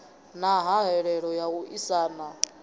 na hahelelo ya u aisana